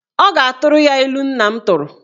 Ọ ga-atụrụ ya ilu nna m tụrụ.